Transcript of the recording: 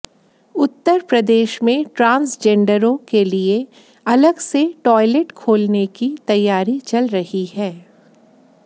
उत्तर प्रदेश में ट्रांसजेंडरों के लिए अलग से टॉयलेट खोलने की तैयारी चल रही है